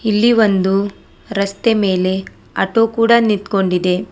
ಇಲ್ಲಿ ಒಂದು ರಸ್ತೆ ಮೇಲೆ ಆಟೋ ಕೂಡ ನಿಂತ್ಕೊಂಡಿದೆ.